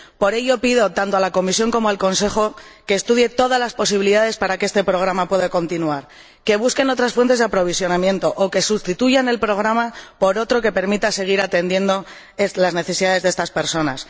Por ello, pido, tanto a la Comisión como al Consejo, que estudien todas las posibilidades para que este programa pueda continuar, que busquen otras fuentes de aprovisionamiento o que sustituyan el programa por otro que permita seguir atendiendo las necesidades de estas personas.